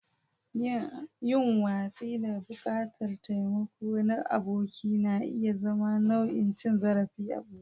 Yin watsi da buƙatar taimako na aboki na iya zama nau'in cin zarafi a ɓoye.